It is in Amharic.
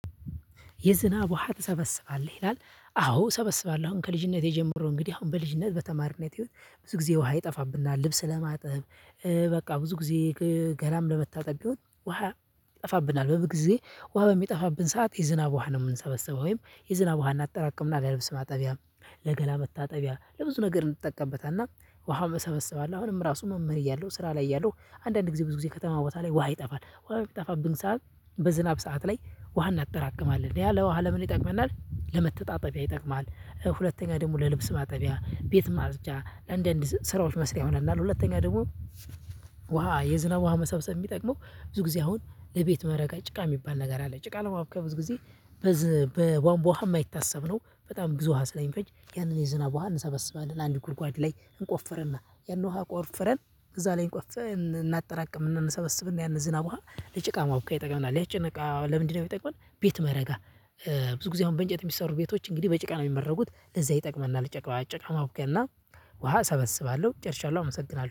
የዝናብ ውሃ ትሰበስባለህ ይላል? አዎ ሰበስባለሁ አሁን ከልጅነቴ ጀምሮ እንግዲህ አሁን በልጅነት በተማሪነት ህይወት ብዙ ጊዜ ውሃ ይጠፋብናል ልብስ ለማጥብ በቃ ብዙ ጊዜ ገላም ለመታጠብ ቢሆን ውሃ ይጠፋብናል በበልግ ጊዜ ውሃ በሚጠፋብን ሰዓት የዝናብ ውሃ ነው የምንሰበሰበው ወይም የዝናብ ውሃን እናጠራቅምና ለልብስ ማጠቢያም ለገላ መታጠቢያ ለብዙ ነገር እንጠቀምበታለን። ውሃ አሁንም እሰበስባለሁ አሁንም ራሱ መምህር እያለሁ ስራ ላይ እያለሁ። አንዳንድ ጊዜ ብዙ ጊዜ ከተማ ቦታ ላይ ውሃ ይጠፋል ውሃ የሚጠፋብን ሰዓት በዝናብ ሰዓት ላይ ውሃ እናጠራቅማለን ያ ለውሃ ለምን ይጠቅመናል ለመተጣጠቢያ ይጠቅማል። ሁለተኛ ደግሞ ለልብስ ማጠቢያ ቤት ማጽጃ አንዳንድ ስራዎች መስሪያ ይሆነናል። ሁለተኛ ደግሞ ዋ የዝናብ ውሃ መሰብሰብ የሚጠቅመው ብዙ ጊዜ አሁን ለቤት መረጋ ጭቃ የሚባል ነገር አለ ጭቃ ለማቡካት ብዙ ጊዜ። በቧንቧ ውሃ የማይታሰብ ነው። በጣም ብዙ ውሃ ስለሚፈጅ ያንን የዝናብ ውሃ እንሰበስባለን አንድ ጉድጓድ ላይ እንቆፍረና ያንን ውሃ ቆፍረን እዛ ላይ እንቆፍ እናጠራቅም እንሰበስብና ያንን ዝናብ ውሃ ለጭቃ ማቡኪያ ይጠቅመናል። ለጭቃ ለምንድነው የሚጠቅመን ቤት መረጋ? ብዙ ጊዜ አሁን በእንጨት የሚሰሩ ቤቶች እንግዲህ በጭቃ ነው የሚመረጉት ለዛ ይጠቅመናል። ጭቃ ጭቃማቡኪያ እና ውሃ እሰበስባለሁ ጨርሻለሁ አመሰግናለሁ